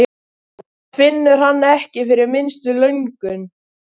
Samt finnur hann ekki fyrir minnstu löngun.